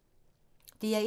DR1